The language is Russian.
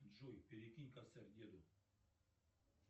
джой перекинь косарь деду